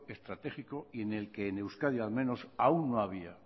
estratégico y en el que en euskadi al menos aún no había